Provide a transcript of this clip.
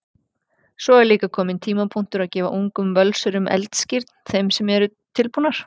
Svo er líka kominn tímapunktur að gefa ungum Völsurum eldskírn, þeim sem eru tilbúnar.